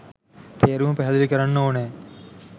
තේරුම පැහැදිලි කරන්න ඕනෑ.